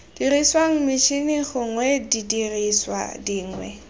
diriswang metšhini gongwe didiriswa dingwe